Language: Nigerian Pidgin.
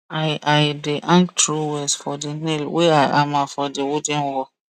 i i dey hang trowels for the nail wey i hammer for the wooden wall